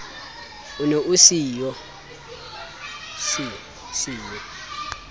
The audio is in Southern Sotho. o ne o se yo